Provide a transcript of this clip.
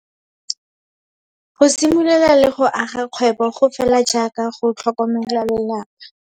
Go simolola le go aga kgwebo go fela jaaka go tlhokomela lelapa.